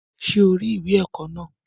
Ṣé o rí ìwé ẹ̀kọ́ náà?